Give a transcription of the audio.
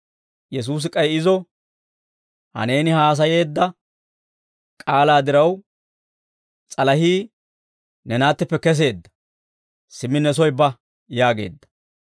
Yesuusi k'ay izo, «Ha neeni haasayeedda k'aalaa diraw, s'alahii ne naattippe keseedda; simmi ne soy ba» yaageedda.